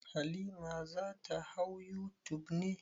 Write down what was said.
Halima za ta hau youtube ne?